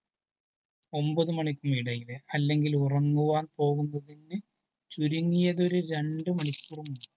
ഒമ്പതു മണിക്കും ഇടയില് അല്ലെങ്കിൽ ഉറങ്ങുവാൻ പോകുന്നതിനു മുന്നേ ചുരുങ്ങിയത് ഒരു രണ്ടു മണിക്കൂർ മുന്നേ